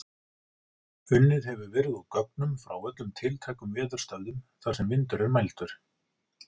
Unnið hefur verið úr gögnum frá öllum tiltækum veðurstöðvum þar sem vindur er mældur.